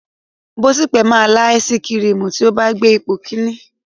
Bọ̀sípò máa lá áísiì kirìmì tí ó bá gbé ipò kìíní.